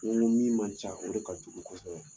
N ko ko min man ca, o de ka jugu kosɛbɛ.